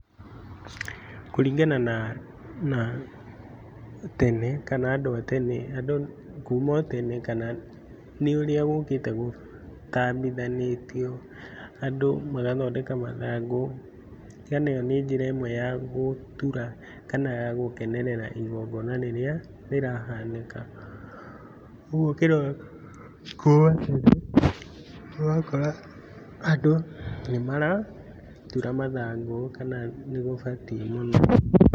Kũringana na na tene kana andũ a tene andũ kuma otene kana nĩũrĩa gũkĩte gũtambithanĩtio andũ magathondeka mathangũ. ĩo nĩnjĩra ĩmwe ya gũtura kana yagũkenererera igongona rĩrĩa rĩrahanĩka ũguo ũrakora andũ nĩmaratura mathangu kana nĩgũbatiĩ mũno.